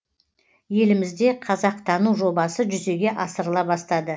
елімізде қазақтану жобасы жүзеге асырыла бастады